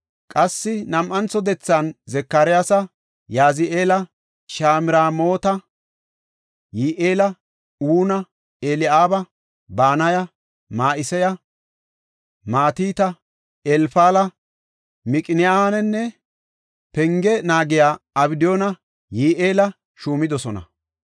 Qassi nam7antho dethan Zakariyasa, Yazi7eela, Shamramoota, Yi7eela, Una, Eli7aaba, Banaya, Ma7iseya, Matita, Elfala, Miqineyanne penge naagiya Abdiyunne Yi7eela shuumidosona.